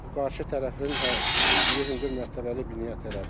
Qarşı tərəfin tikdiyi hündür mərtəbəli binaya tərəf.